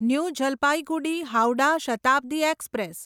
new Jalpaiguri Howrah Shatabdi express